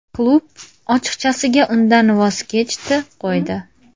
Klub ochiqchasiga undan voz kechdi, qo‘ydi.